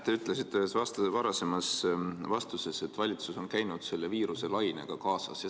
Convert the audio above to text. Te ütlesite ühes varasemas vastuses, et valitsus on käinud selle viiruselainega kaasas.